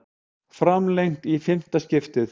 Framlengt í fimmta skiptið